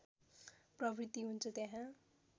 प्रवृत्ति हुन्छ त्यहाँ